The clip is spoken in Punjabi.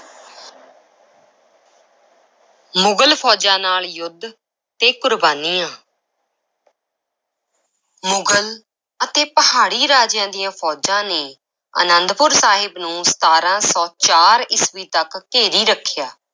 ਮੁਗਲ ਫ਼ੌਜਾਂ ਨਾਲ ਯੁੱਧ ਤੇ ਕੁਰਬਾਨੀਆਂ ਮੁਗ਼ਲ ਅਤੇ ਪਹਾੜੀ ਰਾਜਿਆਂ ਦੀਆਂ ਫ਼ੌਜਾਂ ਨੇ ਅਨੰਦਪੁਰ ਸਾਹਿਬ ਨੂੰ ਸਤਾਰਾਂ ਸੌ ਚਾਰ ਈਸਵੀ ਤੱਕ ਘੇਰੀ ਰੱਖਿਆ।